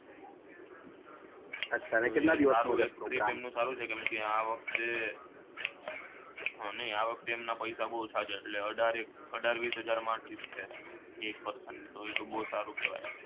આ વખતે હમ નઈ આ વખતે એમના પૈસા બઉ ઓછા છે એટલે અઢાર એક અઢાર વીસ હજાર માં trip છે એક person ની તો એ બઉ સારું કહેવાય